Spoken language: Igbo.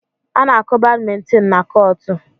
A na-akụ badmintin na kọọtụ.